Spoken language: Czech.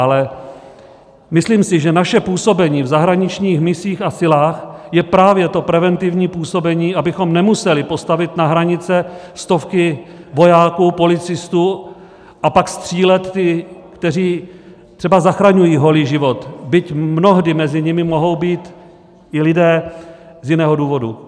Ale myslím si, že naše působení v zahraničních misích a silách je právě to preventivní působení, abychom nemuseli postavit na hranice stovky vojáků, policistů a pak střílet ty, kteří třeba zachraňují holý život, byť mnohdy mezi nimi mohou být i lidé z jiného důvodu.